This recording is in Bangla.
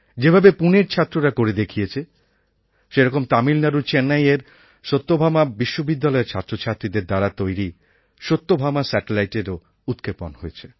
যেভাবে পুনের ছাত্ররা করে দেখিয়েছে সেরকম তামিলনাড়ুর চেন্নাইয়ের সত্যভামা বিশ্ববিদ্যালয়ের ছাত্রছাত্রীদের দ্বারা তৈরি সত্যভামা স্যাটেলাইটএরও উৎক্ষেপণ হয়েছে